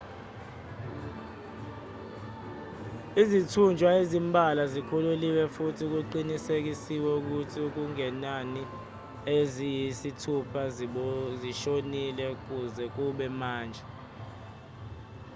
izithunjwa ezimbalwa zikhululiwe futhi kuqinisekiswe ukuthi okungenani eziyisithupha zishonile kuze kube manje